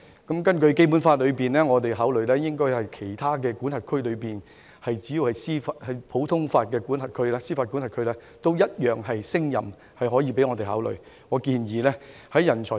根據《基本法》，我們可以考慮其他司法管轄區，只要是普通法司法管轄區的法官，也同樣勝任，我們可以考慮。